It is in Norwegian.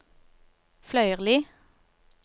Fløyrli